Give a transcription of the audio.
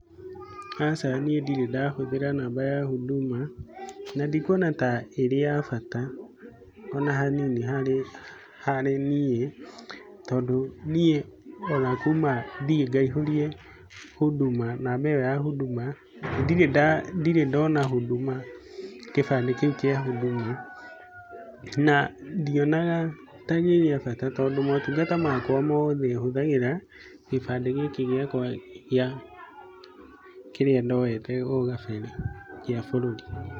Aca niĩ ndirĩ ndahũthĩra namba ya huduma na ndikuona ta ĩrĩ ya bata o na hanini harĩ niĩ tondũ niĩ ona kuma thiĩ ngaihũrie huduma, namba ĩyo ya huduma, ndirĩ ndona huduma kĩbandĩ kĩu kĩa huduma na ndionaga ta gĩ gĩa bata tondũ motungata makwa mothe hũthagĩra gĩbandĩ gĩkĩ gĩakwa gĩa, kĩrĩa ndoete o gabere gĩa bũrũri.